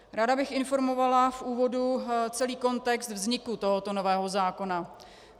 Ráda bych informovala v úvodu celý kontext vzniku tohoto nového zákona.